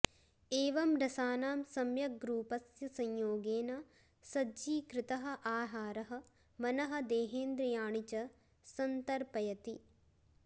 एवं रसानां सम्यग्रूपस्य संयोगेन सज्जीकृतः आहारः मनः देहेन्द्रियाणि च सन्तर्पयति